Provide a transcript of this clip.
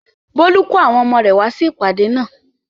Bólú kó àwọn ọmọ rẹ̀ wá sí ìpàdé náà?